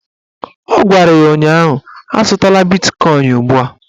Ọ gwara ya ụnyaahụ "Azụtala bitkọin ugbua"!